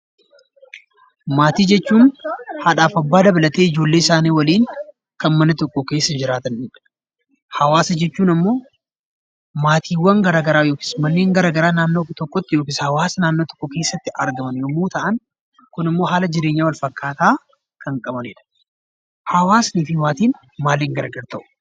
Maatii jechuun haadhaaf abbaa dabalatee ijoollee isaanii waliin kan mana tokko keessa waliin jiraatanidha. Hawaasa jechuun immoo maatiiwwan gara garaa yookiis manneen gara garaa naannoo tokkotti yookiis hawaasa naannoo tokko keessatti argaman yommuu ta'an, kunimmoo haala jireenya wal fakkaataa kan qabanidha. Hawaasnii fi maatiin maaliin gargar ba'u?